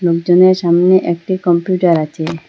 লোকজনের সামনে একটা কম্পিউটার আচে।